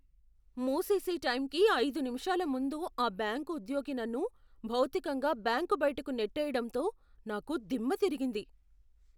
మూసేసే టైంకి ఐదు నిమిషాల ముందు ఆ బ్యాంకు ఉద్యోగి నన్ను భౌతికంగా బ్యాంకు బయటకు నెట్టేయడంతో నాకు దిమ్మతిరిగింది.